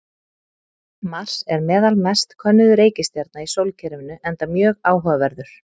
Mars er meðal mest könnuðu reikistjarna í sólkerfinu enda mjög áhugaverður.